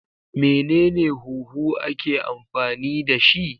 Menene huhu ake amfani dashi?